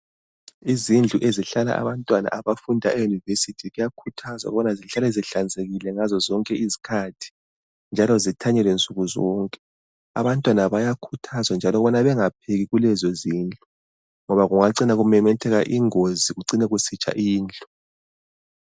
Izindlu ezihlala abantwana abafunda eyunivesithi kuyakhuthazwa ukubana zihlale zihlanzekile ngazo zonke izikhathi njalo zithanyelwe nsuku zonke Abantwana bayakhuthazwa njalo ukubana bengapheki kulezo zindlu ngoba kungacina kumemetheka ingozi kucine kusitsha indlu.